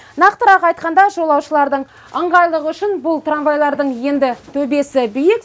нақтырақ айтқанда жолаушылардың ыңғайлығы үшін бұл трамвайлардың енді төбесі биік